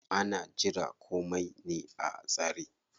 Ana jira komai ne a tsare.